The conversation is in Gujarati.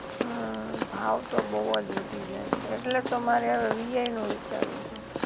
હા ભાવ તો બોવ જ વધી ગયા છે ઍટલે જ તો મારે હવે વીઆઈ નું વિચારું છૂ